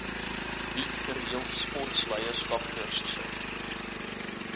bied gereeld sportleierskapskursusse